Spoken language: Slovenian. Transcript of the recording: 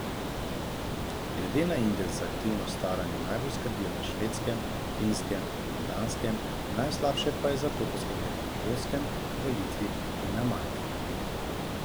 Glede na indeks za aktivno staranje najbolje skrbijo na Švedskem, Finskem in Danskem, najslabše pa je za to poskrbljeno na Poljskem, v Litvi in na Malti.